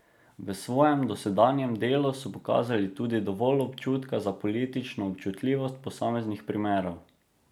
V svojem dosedanjem delu so pokazali tudi dovolj občutka za politično občutljivost posameznih primerov.